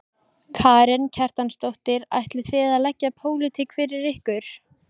Karen Kjartansdóttir: Ætlið þið að leggja pólitík fyrir ykkur?